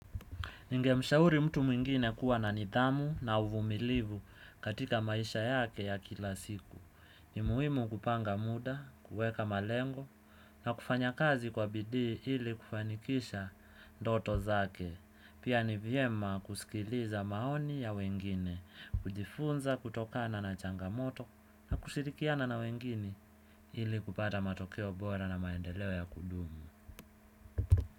Ningemshauri mtu mwingine kuwa na nidhamu na uvumilivu katika maisha yake ya kila siku. Ni muhimu kupanga muda, kuweka malengo na kufanya kazi kwa bidii ili kufanikisha ndoto zake. Pia ni vyema kusikiliza maoni ya wengine, kujifunza kutokana na changamoto na kushirikiana na wengine ili kupata matokeo bora na maendeleo ya kudumu.